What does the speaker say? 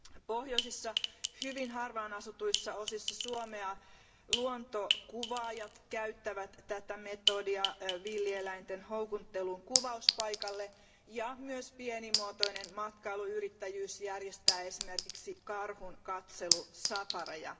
Pohjoisissa, hyvin harvaan asutuissa osissa Suomea luontokuvaajat käyttävät tätä menetelmää villieläinten houkutteluun kuvauspaikalle, ja myös pienet matkailuyritykset järjestävät esimerkiksi karhunkatselusafareja.